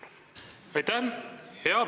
Aitäh!